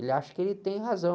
Ele acha que ele tem razão.